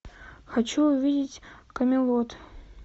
хочу увидеть камелот